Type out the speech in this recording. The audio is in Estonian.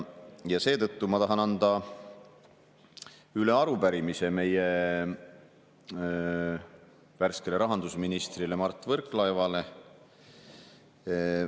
Seetõttu tahan anda üle arupärimise värskele rahandusministrile Mart Võrklaevale.